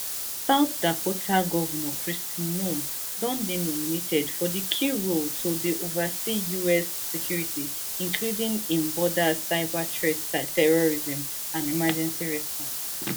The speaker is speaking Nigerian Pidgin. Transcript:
south dakota governor kristi noem don dey nominated for di key role to dey oversee us security including im borders cyberthreats terrorism and emergency response